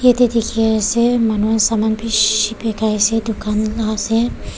yatae dikhiase manu khan saman bishi bikaiase dukan la ase.